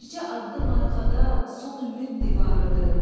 Bircə addım arxada son ümid divarıdır.